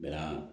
Bɛɛ la